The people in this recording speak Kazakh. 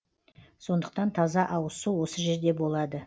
сондықтан таза ауызсу осы жерде болады